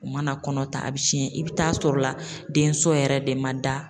U mana kɔnɔ ta a bɛ cɛn i bɛ taa sɔrɔla denso yɛrɛ de man da